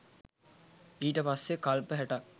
ඊට පස්සේ කල්ප හැටක්